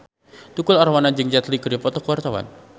Tukul Arwana jeung Jet Li keur dipoto ku wartawan